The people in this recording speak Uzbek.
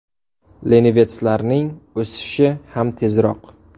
Lenivetslarning o‘sishi ham tezroq.